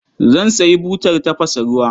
Zan sayi butar tafasa ruwa.